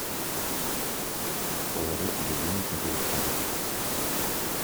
положить себе денег на телефон